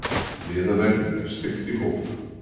Miðaverði er stillt í hóf.